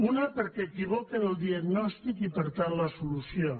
una perquè equivoquen el diagnòstic i per tant la solució